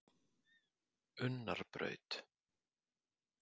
Unnarbraut